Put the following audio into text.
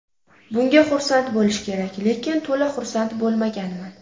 Bunga xursand bo‘lish kerak, lekin to‘la xursand bo‘lmaganman.